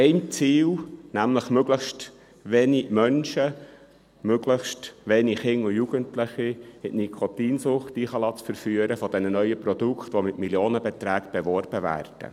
Sein Ziel ist, möglichst wenige Menschen, möglichst wenige Kinder und Jugendliche in die Nikotinsucht zu verführen durch diese neuen Produkte, die mit Millionenbeträgen beworben werden.